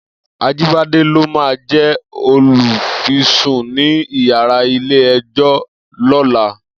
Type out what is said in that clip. Ajibade ló má jè ólúfìsún ni iyàrá ilé èjò lòlá